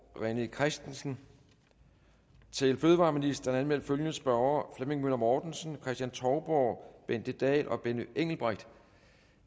rené christensen til fødevareministeren anmeldt følgende spørgere flemming møller mortensen kristen touborg bente dahl og benny engelbrecht